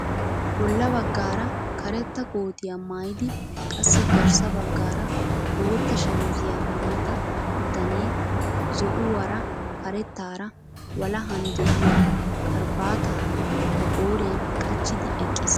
Bolla baggaara kareta kootiyaa maayidi qassi garssa baggaara bootta shamisiyaa maayida bitanee zo'uwaara karettaara walahan de'iyaa karabaataa ba qooriyaan qachchidi eqqiis!